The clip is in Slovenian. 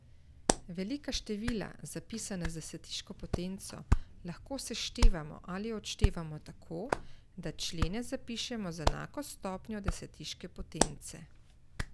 Velika števila, zapisana z desetiško potenco, lahko seštevamo ali odštevamo tako, da člene zapišemo z enako stopnjo desetiške potence.